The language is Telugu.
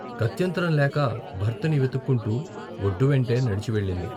గత్యంతరం లేక భర్తని వెతుక్కుంటూ వొడ్డు వెంటే నడిచి వెళ్ళింది.